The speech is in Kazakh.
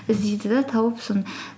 іздейді де тауып соны